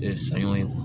saɲɔ